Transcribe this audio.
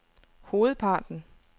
hovedparten